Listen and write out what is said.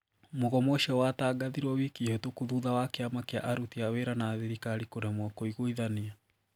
Mogomo ũcio watagathirwo wiki hitũku thutha wa kiama kia aruti a wira na thirikari kũremwo kũigwithania